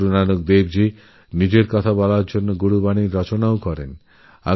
গুরু নানক নিজের বাণী প্রচারের জন্য গুরুবাণীও রচনাকরেছিলেন